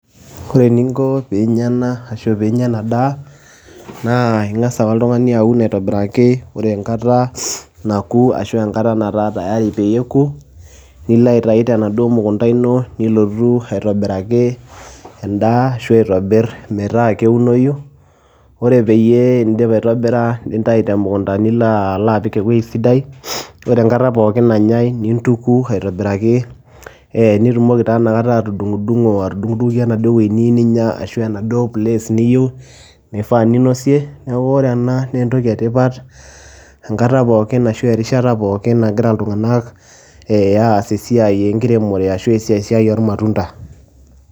ore eninko pee inya ena, ashu pee inyia ena daa. ing'as ake oltungani aun aitobiraki, ore enkata naku, ashu enkata nataa tayari peyie eku, nilo aitayu tenaduoo mukunta, ino nilo aitobiraki edaa, ashu aitobir metaa keunoyu, ore pee idip aitobira, nintayu temukunta nilo apik ewuei sidai. ore enkata pookin nanyae nintuku aitobiraki, nitumoki taa ina kata atuding'idung'o, atudung'oki enaduoo toki ninyia, ashu enaduoo place niyieu, neifaa ninosie, neeku ore ena naa entoki etipat, enata pookin ashu erishata pookin nagira iltung'anak ee aas esiai enkiremore ashu esiai oormatunda.